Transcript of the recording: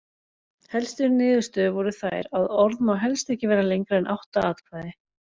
Helstu niðurstöður voru þær að orð má helst ekki vera lengra en átta atkvæði.